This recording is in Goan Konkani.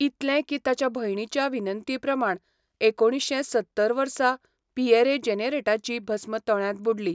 इतलें की ताच्या भयणीच्या विनंती प्रमाण एकुणीश्शें सत्तर वर्सा पिएरे जेनेरेटाची भस्म तळ्यांत बुडली.